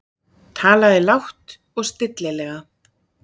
Talaði lágt og stillilega.